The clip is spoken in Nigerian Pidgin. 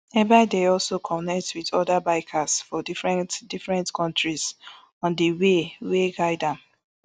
ebaide also connect wit oda bikers for different different kontris on di way wey guide am